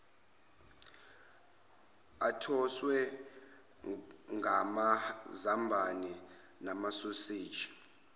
athoswe ngamazambane namasoseji